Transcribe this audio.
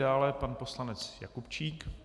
Dále pan poslanec Jakubčík.